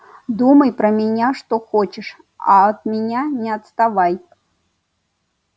думай про меня что хочешь а от меня не отставай